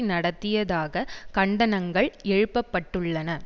நடத்தியதாக கண்டனங்கள் எழுப்பப்பட்டுள்ளன